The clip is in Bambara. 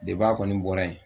a kɔni bɔra yen